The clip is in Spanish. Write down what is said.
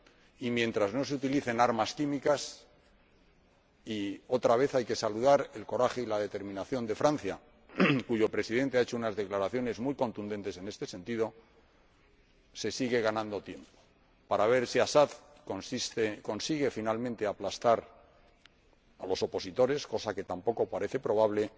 y mientras no se utilicen armas químicas y otra vez hay que saludar el coraje y la determinación de Francia, cuyo Presidente ha hecho unas declaraciones muy contundentes en este sentido se sigue ganando tiempo, para ver si Assad consigue finalmente aplastar a los opositores, cosa que tampoco parece probable,